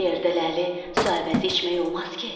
Belə yerdə ləli su əvəzi içmək olmaz ki?